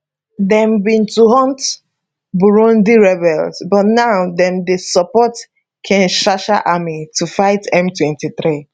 dem bin to hunt burundi rebels but now dem dey support kinshasa army to fight m23